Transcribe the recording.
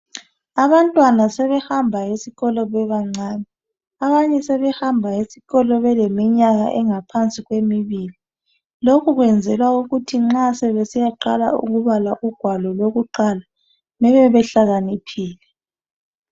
abantwana sebehamba esikolo bebancane abanye sebehamba esikolo beleminyaka engaphansi kwemibili lokhu kuyenzelwa ukuthi nxa sebesiyaqala ukubala ugwalo lwakuqala bebebehlakaniphile